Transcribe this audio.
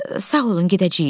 Sağ olun, gedəcəyik.